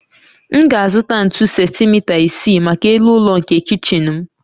M ga-azụta ntu sentimita isii maka elu ụlọ nke kichin m